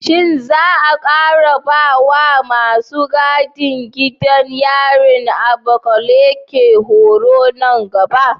Shin za a ƙara ba wa masu gadin gidan yarin Abakaleke horo nan gaba?